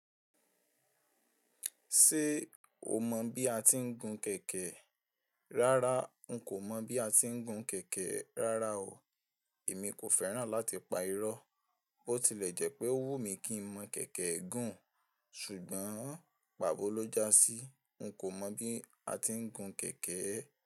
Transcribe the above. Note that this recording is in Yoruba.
Ṣé o mọ̀ bí a ti ń gún kẹ̀kẹ́? Rárá, n kò mọ̀ bí a ti ń gun kẹ̀kẹ́ rárá o. Èmi kò fẹ́ràn láti pa irọ́. Bó tilẹ̀ jẹ́ pé ó wù mí kí ń mọ̀ kẹ̀kẹ́ gùn, ṣùgbọ́n pàbọ́ ló já sí. N kò mọ̀ bí a ti ń gùn kẹ̀kẹ́.